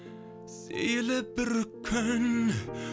сейіліп бір күн